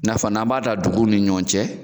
I n'a fɔ n'an b'a dan dugunw ni ɲɔgɔn cɛ